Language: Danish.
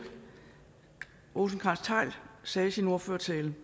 rosenkrantz theil sagde i sin ordførertale